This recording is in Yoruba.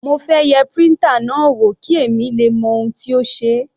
Mo fẹ́ yẹ printer náà wò kí èmi le mọ ohun tó ṣe é.